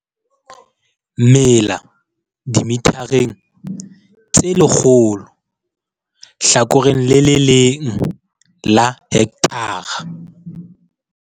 Mela dimethareng tse 100, hlakore le le leng la hekthara.